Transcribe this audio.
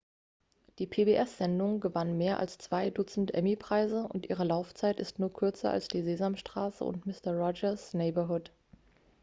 die pbs-sendung gewann mehr als zwei dutzend emmy-preise und ihre laufzeit ist nur kürzer als die sesamstraße und mister roger's neighborhood